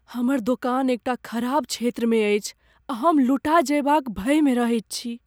हमर दोकान एकटा खराब क्षेत्रमे अछि आ हम लुटा जयबाक भयमे रहैत छी।